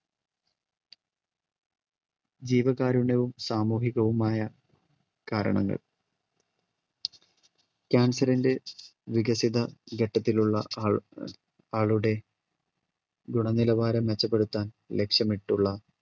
ജീവകാരുണ്യവും സാമൂഹികവുമായ കാരണങ്ങൾ cancer ന്റെ വികസിത ഘട്ടത്തിലുള്ള ആ ആളുടെ ഗുണ നിലവാരം മെച്ചപ്പെടുത്താൻ ലക്ഷ്യമിട്ടുള്ള